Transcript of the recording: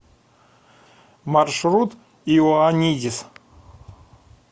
маршрут иоанидис